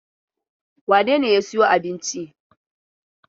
Wane ne ya sayo abincin?